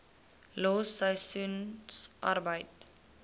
los seisoensarbeid